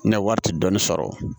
Ne wari ti dɔɔnin sɔrɔ